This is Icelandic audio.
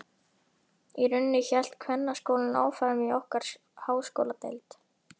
Í rauninni hélt kvennaskólinn áfram í okkar háskóladeild.